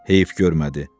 Heyif görmədi.